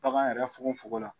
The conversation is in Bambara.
Bagan yɛrɛ funkonfukon la.